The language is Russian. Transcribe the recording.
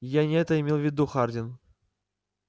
я не это имел в виду хардин